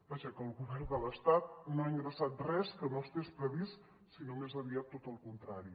vaja que el govern de l’estat no ha ingressat res que no estigués previst sinó més aviat tot al contrari